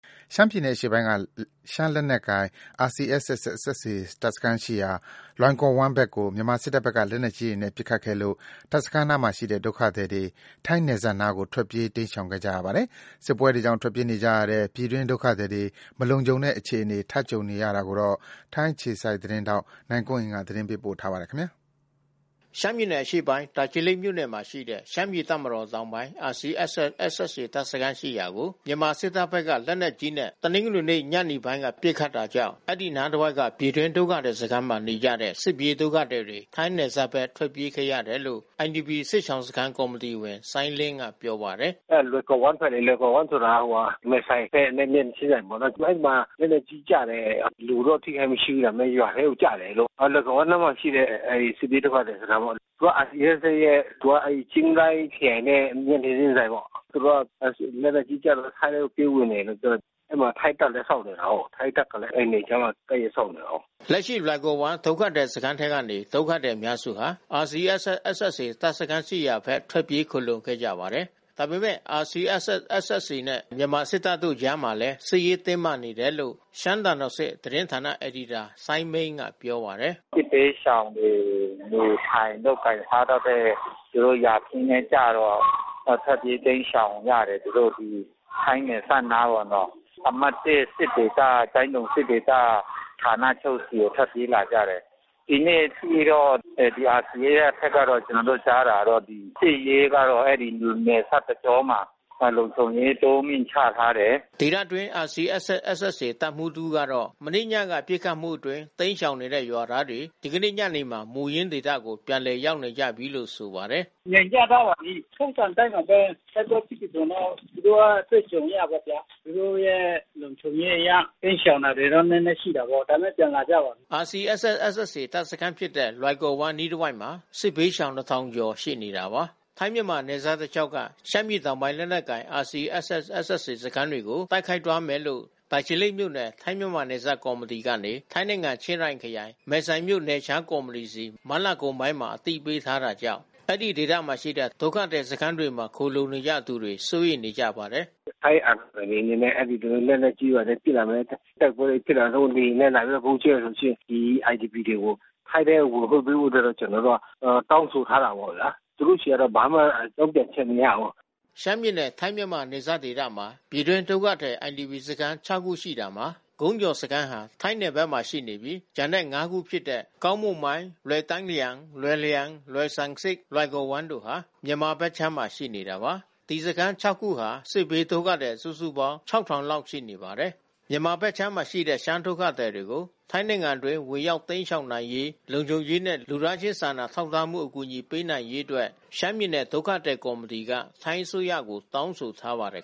ရှမ်းပြည်နယ်အရှေ့ပိုင်းက ရှမ်းလက်နက်ကိုင် RCSS/SSA တပ်စခန်းရှိရာ လွိုင်ကော်ဝမ်းဘက်ကို မြန်မာစစ်တပ် ဘက်က လက်နက်ကြီးတွေနဲ့ ပစ်ခတ်ခဲ့လို့ တပ်စခန်းနားမှာရှိတဲ့ ဒုက္ခသည်တွေ ထိုင်းနယ်စပ်နားကို ထွက်ပြေးတိမ်းရှောင်ခဲ့ကြရပါတယ်။ စစ်ပွဲတွေကြောင့် ထွက်ပြေးနေကြရတဲ့ ပြည်တွင်းဒုက္ခသည်တွေ မလုံခြုံတဲ့အခြေအနေ ထပ်ကြုံနေကြရတာကို ထိုင်းအခြေစိုက် ဗွီအိုအေမြန်မာပိုင်းသတင်း ထောက် နိုင်ကွန်းအိန် ကနေပြောပြပေးမှာပါ။ ရှမ်းပြည်နယ်အရှေ့ပိုင်း တာချီလိတ်မြို့နယ်မှာရှိတဲ့ ရှမ်းပြည်တပ်မတော် တောင်ပိုင်း RCSS/SSA တပ်စခန်းရှိရာကို မြန်မာစစ်တပ်ဖက်က လက်နက်ကြီးနဲ့ တနင်္ဂနွေနေ့ ညနေပိုင်းက ပစ်ခတ်တာကြောင့် အဲဒီနားတဝိုက်က ပြည်တွင်း ဒုက္ခသည်စခန်းမှာ နေကြတဲ့ စစ်ပြေးဒုက္ခသည်တွေ ထိုင်းနယ်စပ်ဖက် ထွက်ပြေးခဲ့ကြရတယ်လို့ IDP ဒုက္ခသည်စခန်း ကော်မီတီဝင် စိုင်းလင်းကပြောပါတယ်။ “အဲလွိုင်ကော်ဝမ်းဖက်လေ။ လွိုင်ကော်ဝမ်းဆိုတာ မယ်ဆိုင်ဖက်နဲ့မျက်နှာချင်းဆိုင်ပေါ့နော်။ အဲဒီမှာလက်နက်ကြီး ကျတယ်။ လူတော့ထိခိုက်မှုမရှိဘူး။ ရွာထဲကိုကျတယ်ပေါ့။ လွိုင်ကော်ဝမ်းနားမှာရှိတဲ့စစ်ပြေးဒုက္ခသည်စခန်းပေါ့။ သူကRCSSရဲ့သူကချိုင်းရိုင်းခရိုင်နဲ့ မျက်နှာချင်းဆိုင်ပေါ့။ သူတို့ကလက်နက်ကြီးကျတော့ ထိုင်းထဲပြေးဝင်တယ်လို့တော့ပြောတယ်။ အဲဒီမှာထိုင်းတပ်လဲစောင့်နေတာကိုး။ ထိုင်းတပ်ကလဲ အဲဒီနယ်ခြားမှာ ကပ်လျှက်စောင့်နေတာကိုး” လက်ရှိလွိုင်ကော်ဝမ်း ဒုက္ခသည်စခန်းထဲကနေ ဒုက္ခသည်အများစုဟာ RCSS/SSA တပ်စခန်းရှိရာဖက် ထွက်ပြေးခိုလှုံခဲ့ကြပါတယ်။ ဒါပေမဲ့ RCSS/SSA နဲ့ မြန်မာစစ်တပ်တို့ကြားမှာလည်း စစ်ရေးတင်းမာနေတယ်လို့ ရှမ်းသံ တော်ဆင့်သတင်းဌာနအယ်ဒီတာစိုင်းမိန်းကပြောပါတယ်။ “ စစ်ဘေးရှောင်တွေနေထိုင်လုပ်ကိုင်စားသောက်တဲ့ သူတို့ယာခင်းထဲကျတော့ ထွက်ပြေးတိမ်းရှောင်ရတယ်။ သူတို့ ထိုင်းနယ်စပ်နားပေါ့နော်။ အမှတ် စစ်ဒေသ ကျိုင်းတုံစစ်ဒေသဌာနချုပ်ဆီကိုထွက်ပြေးလာတယ်။ ဒီနေ့အထိ တော့ RCSSဘက်တော့ ကျွန်တော်တို့ကြားတာကတော့ စစ်ရေးကတော့အဲဒီနယ်စပ်တကြောမှာ လုံခြုံရေးတိုးမြင့် ချထားတယ်” ဒေသတွင်း RCSS/SSA တပ်မှူးတဦးကတော့ မနေ့ညကပစ်ခတ်မှုအတွင်း တိမ်းရှောင်နေတဲ့ရွာသားတွေ ဒီနေ့ ညနေမှာ မူရင်းဒေသကို ပြန်လည်ရောက်နေကြပြီလို့ဆိုပါတယ်။ “ ငြိမ်ကျသွားပါပြီး။ ထုံးစံအတိုင်းပါဘဲ တိုက်ပွဲဖြစ်ပြီးဆိုရင်တော့ သူတို့အတွေ့အကြုံအရပေါ့ဗျာ ။ သူတို့ရဲ့လုံခြုံရေး အရ တိမ်းရှောင်တာတွေတော့နဲနဲရှိတာပေါ့။ ဒါပေမဲ့ပြန်လာကြပါပြီး” RCSS/SSA တပ်စခန်းဖြစ်တဲ့ လွိုင်ကော်ဝမ်း အနီးတဝှိက်မှာ စစ်ဘေးရှောင် ကျော်ရှိနေတာပါ။ ထိုင်း မြန်မာနယ်စက်တလျှောက်က ရှမ်းပြည်တောင်ပိုင်းလက်နက်ကိုင် RCSS/SSA စခန်းတွေကို တိုက်ခိုက်သွား မယ်လို့ တာချီလိတ်မြို့နယ် ထိုင်းမြန်မာနယ်စပ်ကော်မတီကနေ ထိုင်းနိုင်ငံချင်းရိုင်ခရိုင် မယ်ဆိုင်မြို့နယ်ခြား ကော်မတီဆီ မတ်လကုန်ပိုင်းမှာ အသိပေးထားတာကြောင့် အဲဒီဒေသမှာရွိတဲ့ ဒုက္ခသည်စခန်းတွေမှာ ခိုလှုံနေကြသူတွေ စိုးရိမ်နေကြပါတယ်။ “ ထိုင်းအာဏာပိုင်တွေအနေနဲ့ သူတို့လက်နက်ကြီးတွေနဲ့ပစ်လာမယ်။ တိုက်ပွဲတွေဖြစ်လာလို့ သူတို့လေယာဉ်နဲ့ ဗုံးကြဲမယ်ဆိုလို့ရှိရင် ဒီIDPတြေကို ထိုင်းထဲကိုဝင်ခွင့်ပေးဖို့အတွက်တော့ကျွန်တော်တို့ တောင်းဆိုထားတာ ပေါ့ဗျာ။ သူတို့ဆီကဘာမှတုန့်ပြန်ချက်မရဘူး ” ရှမ်းပြည်နယ် ထိုင်းမြန်မာနယ်စပ်ဒေသမွာ ပြည်တွင်းဒုက္ခသည် IDP စခန်း ခုရှိရာမှာ ကုန်းကျော်စခန်းဟာ ထိုင်းနယ်ဘက်မှာ ရှိနေပြီး ကျန်တဲ့ ခုဖြစ်တဲ့ ကောင်းမုန်မိုင်း လွိုင်တိုင်းလျှဲန် လွိုင်လျန် လွိုင်ဆမ်ဆစ် လွိုင်ကော်ဝမ်းတို့ဟာ မြန်မာဘက်ခြမ်းမှာရှိနေတာပါ။ ဒီစခန်း ခုမှာ စစ်ဘေးဒုက္ခသည် စုစုပေါင်း လောက်ရှိပါတယ်။ မြန်မာဘက်ခြမ်းမှာရှိတဲ့ရှမ်းဒုက္ခသည်တွေကို ထိုင်းနိုင် ငံ အတွင်းဝင်ရောက် ရှောင်တိမ်းနိုင်ရေး၊ လုံခြုံရေးနဲ့ လူသားချင်းစာနာထောက်ထားမှု အကူညီ ပေးနိုင်ရေးအတွက် ရှမ်းပြည်နယ်ဒုက္ခသည်ကော်မတီက ထိုင်းအစိုးရကိုတောင်းဆိုထားပါတယ်